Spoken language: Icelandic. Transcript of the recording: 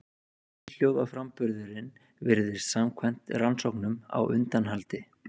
Einhljóðaframburðurinn virðist samkvæmt rannsóknum á undanhaldi.